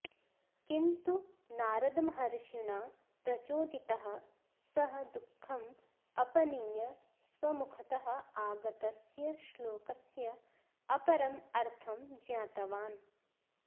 किन्तु नारदमहर्षिणा प्रचोदितः सः दुःखम् अपनीय स्वमुखतः आगतस्य श्लोकस्य अपरम् अर्थं ज्ञातवान्